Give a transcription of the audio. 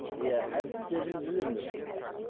иә әдістерін білемін мен олардың